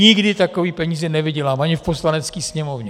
Nikdy takové peníze nevydělám, ani v Poslanecké sněmovně!